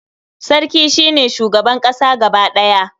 Sarki shi ne shugaban ƙasa gaba ɗaya.